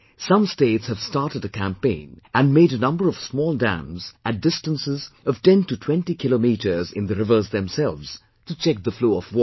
Some states have started a campaign and made a number of small dams at distances of 10 to 20 kilometres in the rivers themselves to check the flow of water